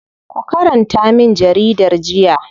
Ku karanta min jaridar jiya.